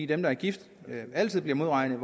dem der er gift altid bliver modregnet